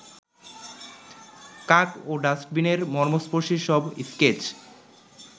কাক ও ডাস্টবিনের মর্মস্পর্শী সব স্কেচ